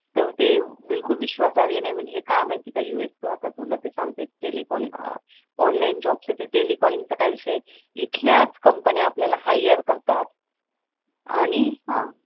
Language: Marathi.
तर ते बिलकुल विश्वासार्ह्य नाही म्हणजे काय आहे माहित आहे का यूएस च आता तुला ते सांगते एक टेलिकलिंग ऑनलाईन जॉब च ते टेलिकॅलीन्ग चा काय विषय आहे इथल्याच कंपन्या आपल्याला हायरकरतात आणि